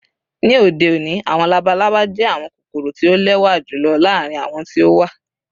Ni ode oni, awọn labalaba jẹ awọn kokoro ti o lẹwa julọ laarin awọn ti o wa.